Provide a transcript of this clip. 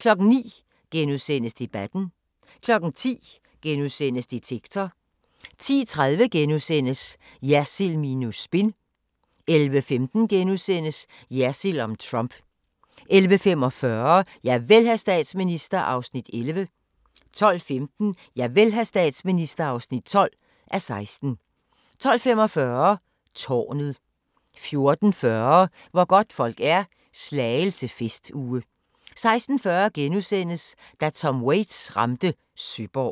09:00: Debatten * 10:00: Detektor * 10:30: Jersild minus spin * 11:15: Jersild om Trump * 11:45: Javel, hr. statsminister (11:16) 12:15: Javel, hr. statsminister (12:16) 12:45: Tårnet 14:40: Hvor godtfolk er – Slagelse festuge 16:40: Da Tom Waits ramte Søborg *